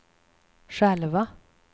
själva